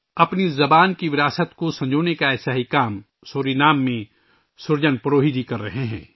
اپنی زبان کی ثقافت کو محفوظ کرنے کا ایسا ہی کام سورینام میں سُرجن پروہی جی کر رہے ہیں